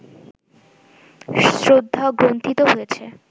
শ্রদ্ধা গ্রন্থিত হয়েছে